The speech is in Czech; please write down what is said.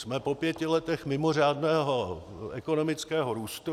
Jsme po pěti letech mimořádného ekonomického růstu.